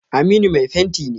Aminu mai fenti ne.